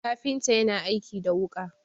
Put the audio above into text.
kafinta yana aiki da wuka